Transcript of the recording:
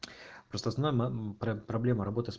просто основная про проблема работы с